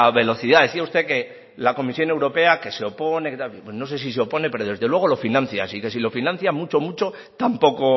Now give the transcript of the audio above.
velocidad decía usted que la comisión europea que se opone que tal pues no sé si se opone pero desde luego lo financia así que si lo financia mucho mucho tampoco